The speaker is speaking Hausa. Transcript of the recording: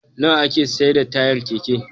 Nawa ake saida tayar Keke?